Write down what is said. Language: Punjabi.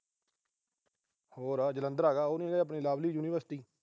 ਹੋਰ ਆ। ਜਲੰਧਰ ਹੈਗਾ, ਓ ਨੀ ਹੈਗੀ ਆਪਣੀ ਲਵਲੀ ਯੂਨੀਵਰਸਿਟੀ।